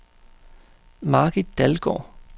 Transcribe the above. Margit Dalgaard